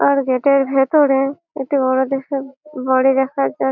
আর gate এর ভিতরে একটি বড় দেখে বাড়ি দেখা যা--